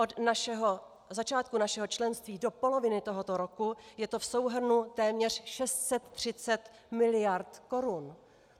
Od začátku našeho členství do poloviny tohoto roku je to v souhrnu téměř 630 mld. korun.